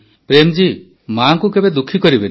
ପ୍ରେମ୍ଜୀ ମାଆଙ୍କୁ ଦୁଃଖୀ କରିବେନି